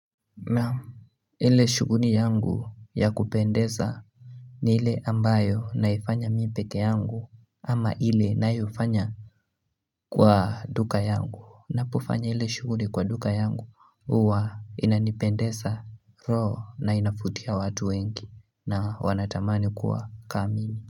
Ile shughuli yangu ya kupendeza ni ile ambayo naifanya mimi pekee yangu ama ile nayoifanya kwa duka yangu ninapofanya ile shughuli kwa duka yangu huwa inanipendeza roho na inavutia watu wengi na wanatamani kuwa ka mimi.